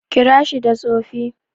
Kira shi da Tsofi.